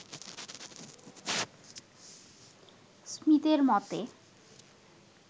স্মীথের মতে